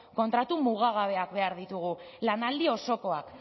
kontratu mugagabeak behar ditugu lanaldi osokoak